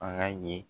An ka ye